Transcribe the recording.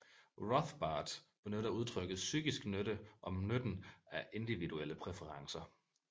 Rothbard benytter udtrykket psykisk nytte om nytten af individuelle præferencer